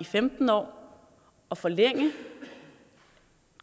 i femten år og forlænge